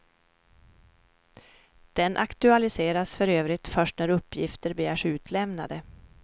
Den aktualiseras för övrigt först när uppgifter begärs utlämnade.